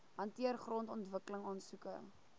hanteer grondontwikkeling aansoeke